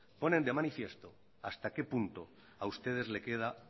ponen de manifiesto hasta qué punto a ustedes le queda